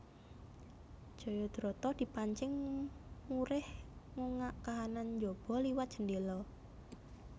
Jayadrata dipancing murih ngungak kahanan njaba liwat jendhéla